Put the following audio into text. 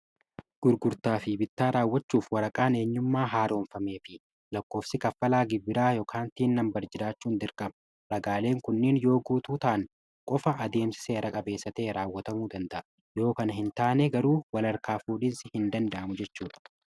Gurgurtaa fi bittaa raawwachuuf waraqaan eenyummaa haaroomfamee fi lakkoofsi kaffaltii biraa dirqama ulaagaalee kunneen yoo guutuutaan qofa.